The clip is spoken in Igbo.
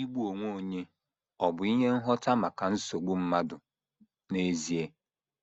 Igbu onwe onye ọ̀ bụ ihe ngwọta maka nsogbu mmadụ n’ezie?